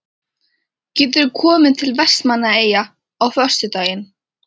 Geturðu komið til Vestmannaeyja á föstudaginn?